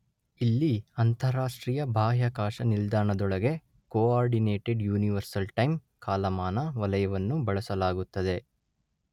ಇಲ್ಲಿ ಅಂತರರಾಷ್ಟ್ರೀಯ ಬಾಹ್ಯಾಕಾಶ ನಿಲ್ದಾಣದೊಳಗೆ ಕೋಆರ್ಡಿನೇಟೆಡ್ ಯುನಿವರ್ಸಲ್ ಟೈಮ್ ಕಾಲಾಮಾನ ವಲಯವನ್ನು ಬಳಸಲಾಗುತ್ತದೆ